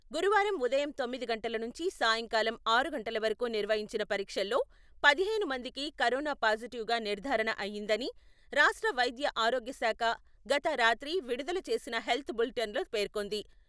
గురువారం ఉదయం తొమ్మిది గంటల నుంచి సాయంకాలం ఆరు గంటల వరకు నిర్వహించిన పరీక్షల్లో పదిహేను మందికి కరోనా పాజిటివ్ గా నిర్ధారణ అయిందని రాష్ట్ర వైద్యఆరోగ్య శాఖ గత రాత్రి విడుదల చేసిన హెల్త్ బులిటెన్లో పేర్కొంది.